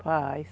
Faz.